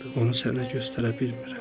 Onu sənə göstərə bilmirəm.